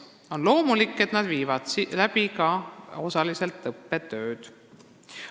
On loomulik, et nad viivad osaliselt läbi ka õppetööd.